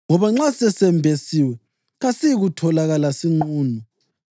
ngoba nxa sesembesiwe kasiyikutholakala sinqunu.